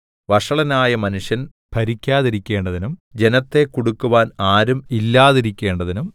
വഷളനായ മനുഷ്യൻ ഭരിക്കാതിരിക്കേണ്ടതിനും ജനത്തെ കുടുക്കുവാൻ ആരും ഇല്ലാതിരിക്കേണ്ടതിനും